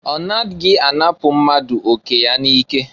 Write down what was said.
Ọ naghị anapụ mmadụ oke ya n'ike.